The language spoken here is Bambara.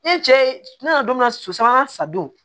E cɛ ye ne nana don min na so sabanan sa don